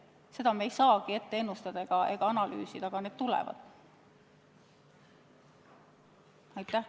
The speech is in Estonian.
Seda me ei saa ette ennustada ega analüüsida, aga need nõuded tulevad.